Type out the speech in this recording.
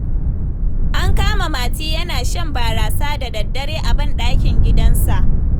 An kama Mati yana shan barasa da daddare a banɗakin gidansa.